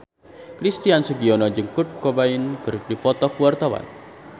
Christian Sugiono jeung Kurt Cobain keur dipoto ku wartawan